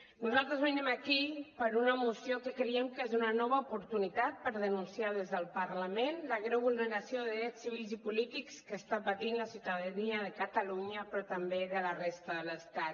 nosaltres venim aquí per una moció que creiem que és una nova oportunitat per denunciar des del parlament la greu vulneració de drets civils i polítics que està pa·tint la ciutadania de catalunya però també de la resta de l’estat